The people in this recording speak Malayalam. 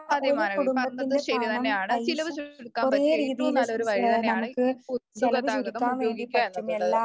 അതെ മാനവി പറഞ്ഞത് ശരിതന്നെയാണ് ചെലവുചുരുക്കാൻ പറ്റിയ ഏറ്റവും നല്ലൊരു വഴി തന്നെയാണ് ഈ പൊതുഗതാഗതം ഉപയോഗിക്കുക എന്നുള്ളത്.